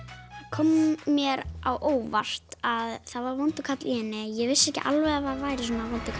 kom mér á óvart að það var vondur karl í henni ég vissi ekki alveg að það væri svona vondur